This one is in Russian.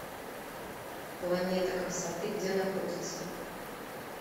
планета красоты где находится